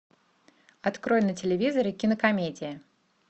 открой на телевизоре кинокомедия